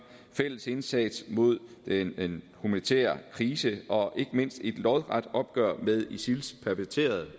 fælles indsats mod den humanitære krise og ikke mindst et lodret opgør med isils perverterede